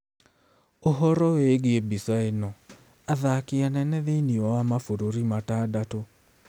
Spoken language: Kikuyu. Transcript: Ũhoro wĩgiĩ mbica ĩno: athaki anene thĩinĩ wa mabũrũri matandatũ.